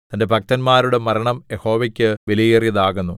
തന്റെ ഭക്തന്മാരുടെ മരണം യഹോവയ്ക്കു വിലയേറിയതാകുന്നു